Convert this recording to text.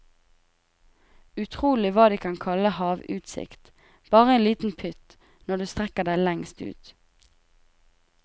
Utrolig hva de kan kalle havutsikt, bare en liten pytt når du strekker deg lengst ut.